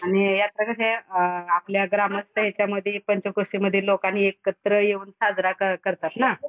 आणि आता कसा अ आपल्या ग्रामस्थ याच्यामधी पंचक्रोशीमधे एकत्र येऊन साजरा करतात ना.